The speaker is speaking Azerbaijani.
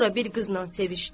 Sonra bir qızla sevişdi.